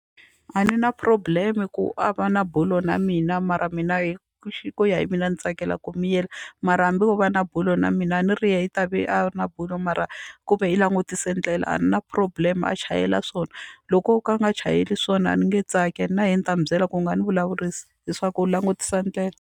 A ni na problem ku a va na bulo na mina mara mina hi ku ya hi mina ni tsakela ku miyela mara hambi wo va na bulo na mina a ni ri yena i ta ve a ri na bulo mara kumbe hi langutise ndlela a na problem a chayela swona loko o ka a nga chayeli swona a ni nge tsaki na yena ni ta n'wu byela ku nga ni vulavurisi leswaku u langutisa ndlela.